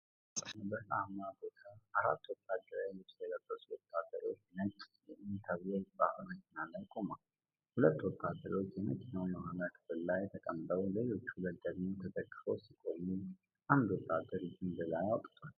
ፀሐያማ በሆነ በረሃማ ቦታ፣ አራት ወታደራዊ ልብስ የለበሱ ወታደሮች ነጭ "UN" ተብሎ በተጻፈበት መኪና ላይ ቆመዋል። ሁለቱ ወታደሮች የመኪናው የኋላ ክፍል ላይ ተቀምጠው ሌሎች ሁለቱ ደግሞ ተደግፈው ሲቆሙ፣ አንዱ ወታደር እጁን ወደ ላይ አውጥቷል።